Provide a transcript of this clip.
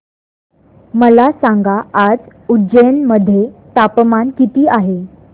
मला सांगा आज उज्जैन मध्ये तापमान किती आहे